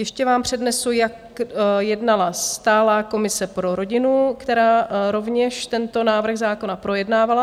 Ještě vám přednesu, jak jednala stálá komise pro rodinu, která rovněž tento návrh zákona projednávala.